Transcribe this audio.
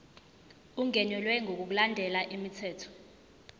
ungenelwe ngokulandela umthetho